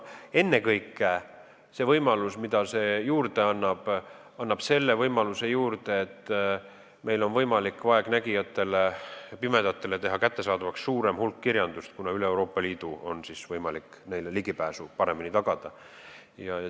Ennekõike annab see juurde võimaluse, et meil on võimalik vaegnägijatele ja pimedatele teha kättesaadavaks suurem hulk kirjandust, kuna üle Euroopa Liidu on võimalik sellele paremini ligipääsu tagada.